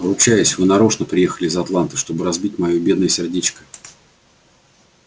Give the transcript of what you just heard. ручаюсь вы нарочно приехали из атланты чтобы разбить моё бедное сердечко